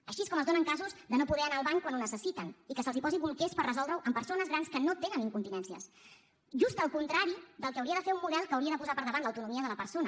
així és com es donen casos de no poder anar al bany quan ho necessiten i que es posin bolquers per resoldre ho a persones grans que no tenen incontinències just el contrari del que hauria de fer un model que hauria de posar per davant l’autonomia de la persona